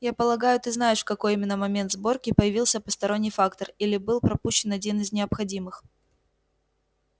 я полагаю ты знаешь в какой именно момент сборки появился посторонний фактор или был пропущен один из необходимых